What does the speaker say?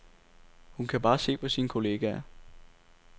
Hun kan bare se på sine kolleger.